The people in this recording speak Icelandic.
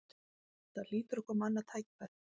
Það hlýtur að koma annað tækifæri